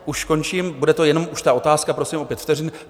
Už končím, bude to jenom už ta otázka, prosím o pět vteřin.